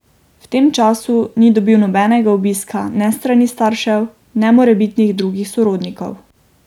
V tem času ni dobil nobenega obiska ne s strani staršev ne morebitnih drugih sorodnikov.